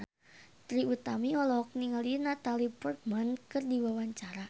Trie Utami olohok ningali Natalie Portman keur diwawancara